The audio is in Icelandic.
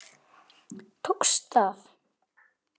Tókst það.